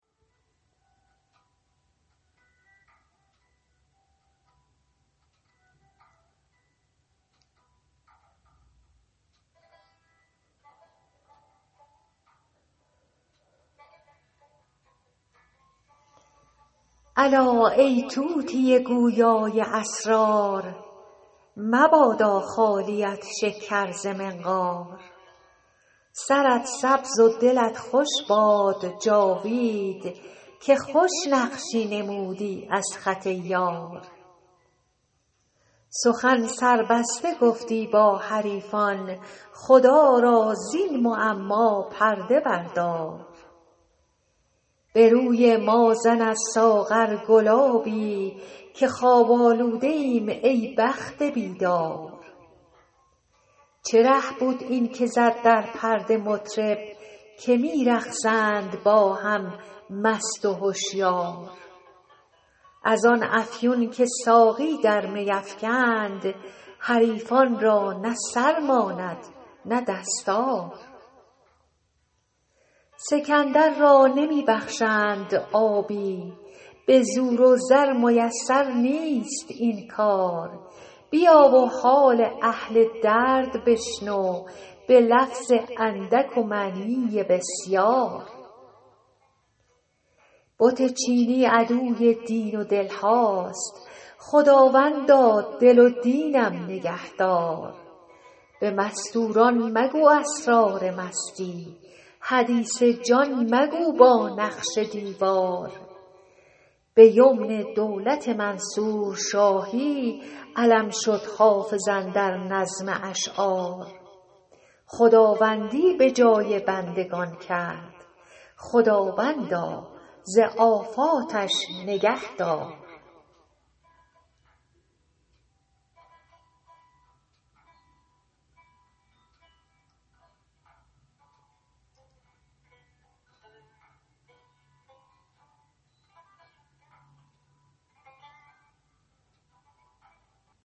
الا ای طوطی گویا ی اسرار مبادا خالیت شکر ز منقار سرت سبز و دلت خوش باد جاوید که خوش نقشی نمودی از خط یار سخن سربسته گفتی با حریفان خدا را زین معما پرده بردار به روی ما زن از ساغر گلابی که خواب آلوده ایم ای بخت بیدار چه ره بود این که زد در پرده مطرب که می رقصند با هم مست و هشیار از آن افیون که ساقی در می افکند حریفان را نه سر ماند نه دستار سکندر را نمی بخشند آبی به زور و زر میسر نیست این کار بیا و حال اهل درد بشنو به لفظ اندک و معنی بسیار بت چینی عدوی دین و دل هاست خداوندا دل و دینم نگه دار به مستور ان مگو اسرار مستی حدیث جان مگو با نقش دیوار به یمن دولت منصور شاهی علم شد حافظ اندر نظم اشعار خداوندی به جای بندگان کرد خداوندا ز آفاتش نگه دار